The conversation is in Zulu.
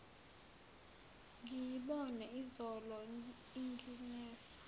ngiyibone izolo inginesa